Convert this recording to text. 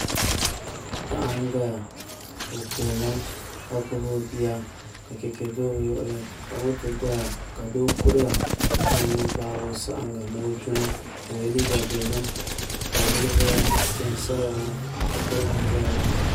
Paɣa n doya o kuhurimi ka gbubi o bia ka chɛchɛ do bi luɣuli ka moto doya ka doo kuriya ka zaŋ o nuu gbaagi o saɣangi ni ni o duni i yɛla liiga dozim ka yili ʒɛya tihi n saya ŋo shikuru bihi n ʒɛya ŋo